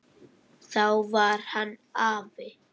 Þá var hann afi.